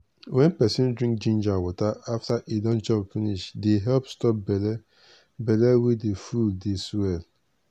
wen peson drink ginger water after e don chop finish dey help stop belle belle wey dey full dey swell.